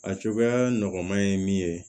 A cogoya nɔgɔma ye min ye